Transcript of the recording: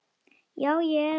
Já, ég er að fara.